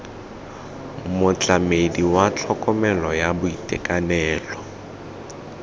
motlamedi wa tlhokomelo ya boitekanelo